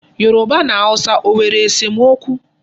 Yoruba na Hausa ọ nwere esomokwu?